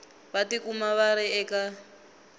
va tikuma va ri eka